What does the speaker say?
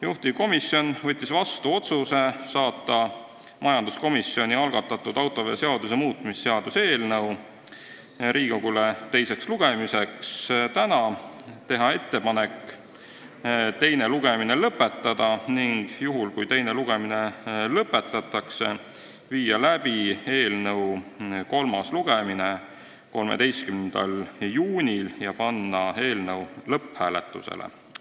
Juhtivkomisjon võttis vastu otsuse saata majanduskomisjoni algatatud autoveoseaduse muutmise seaduse eelnõu Riigikokku teisele lugemisele tänaseks, teha ettepanek teine lugemine lõpetada ning juhul, kui teine lugemine lõpetatakse, viia läbi kolmas lugemine 13. juunil ja panna eelnõu lõpphääletusele.